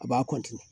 A b'a